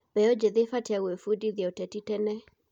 Mbeũ njĩthĩ ĩbatiĩ gwĩbundithia ũteti tene.